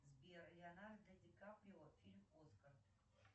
сбер леонардо ди каприо фильм оскар